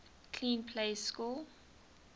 clean plays score